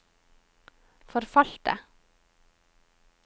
forfalte